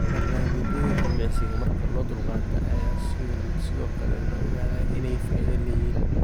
Barnaamijyada jimicsiga marka loo dulqaato ayaa sidoo kale la ogaaday inay faa'iido leeyihiin.